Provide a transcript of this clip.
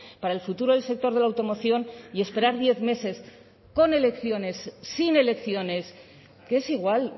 para el futuro del sector de la automoción y esperar diez meses con elecciones sin elecciones que es igual